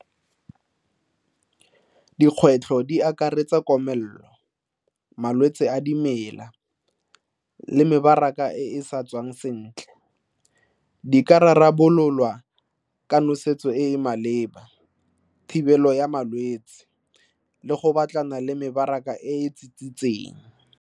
Dikgwetlho di akaretsa komelelo, malwetse a dimela le mebaraka e e sa tswang sentle. Di ka rarabololwa ka nosetso e e maleba, thibelo ya malwetse le go batlana le mebaraka e e .